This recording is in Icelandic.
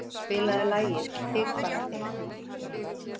Steina, spilaðu lagið „Þig bara þig“.